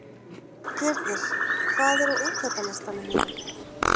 Gyrðir, hvað er á innkaupalistanum mínum?